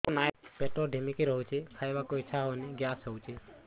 ପେଟ ଢିମିକି ରହୁଛି ଖାଇବାକୁ ଇଛା ହଉନି ଗ୍ୟାସ ହଉଚି